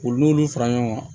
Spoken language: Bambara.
U n'olu fara ɲɔgɔn kan